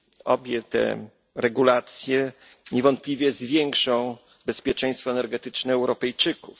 obie te regulacje niewątpliwie zwiększą bezpieczeństwo energetyczne Europejczyków.